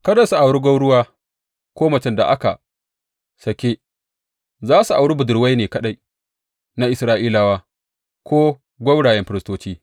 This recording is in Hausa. Kada su auri gwauruwa ko macen da aka sāke; za su auri budurwai ne kaɗai na Isra’ilawa ko gwaurayen firistoci.